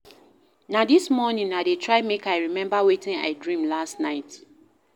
Na dis morning I dey try make I remember wetin I dream last night.